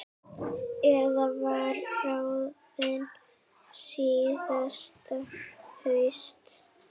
Eiður var ráðinn síðasta haust.